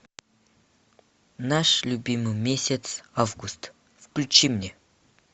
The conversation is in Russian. наш любимый месяц август включи мне